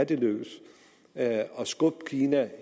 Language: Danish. vil lykkes at skubbe kina